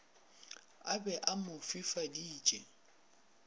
a be a mo fifaditše